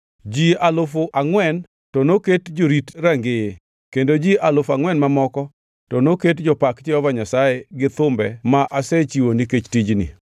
Ji alufu angʼwen, to noket jorit rangeye, kendo ji alufu angʼwen mamoko, to noket jopak Jehova Nyasaye gi thumbe ma asechiwo nikech tijni.”